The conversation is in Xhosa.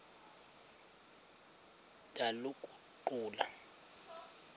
ndaliguqula